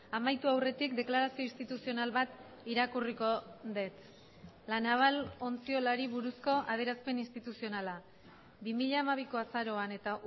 amaitu aurretik deklarazio instituzional bat irakurriko dut la naval ontziolari buruzko adierazpen instituzionala bi mila hamabiko azaroan eta